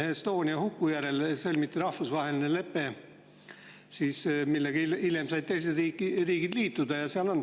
Estonia huku järel sõlmiti rahvusvaheline lepe, millega teised riigid said hiljem liituda.